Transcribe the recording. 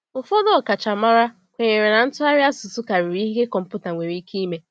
Ụfọdụ ọkachamara kwenyere na ntụgharị asụsụ karịrị ihe kọmpụta nwere ike ime.